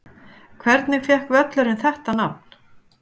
Hvernig fékk völlurinn þetta nafn?